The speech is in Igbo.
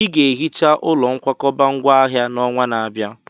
Ị ga-ehicha ụlọ nkwakọba ngwá ahịa n'ọnwa na-abịa!